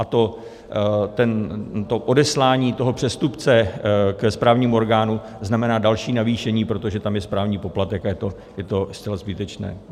A to odeslání toho přestupce ke správnímu orgánu znamená další navýšení, protože tam je správní poplatek a je to zcela zbytečné.